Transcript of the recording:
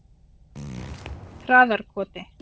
Traðarkoti